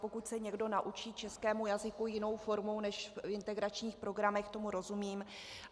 Pokud se někdo naučí českému jazyku jinou formou než v integračních programech, tomu rozumím.